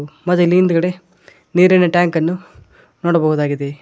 ಮತ್ತ್ ಇಲ್ಲಿ ಹಿಂದ್ಗಡೆ ನೀರಿನ ಟ್ಯಾಂಕನ್ನು ನೋಡಬಹುದಾಗಿದೆ.